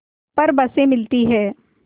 पर बसें मिलती हैं